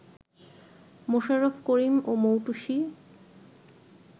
মোশাররফ করিম ও মৌটুসী